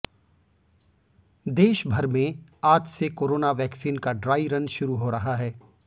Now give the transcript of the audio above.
देशभर में आज से कोरोना वैक्सीन का ड्राइ रन शुरू हो रहा है